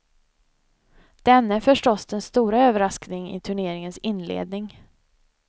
Denne är förstås den stora överraskningen i turneringens inledning.